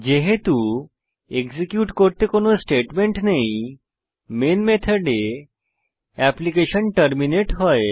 যেহেতু এক্সিকিউট করতে কোনো স্টেটমেন্ট নেই মেইন মেথডে এপ্লিকেশন টার্মিনেট হয়